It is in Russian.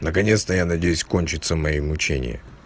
наконец-то я надеюсь кончатся мои мучения